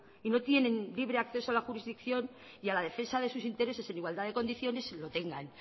y no tienen libre acceso a la jurisdicción y a la defensa de sus intereses en igualdad de condiciones lo tengan